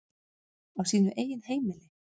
Á sínu eigin heimili.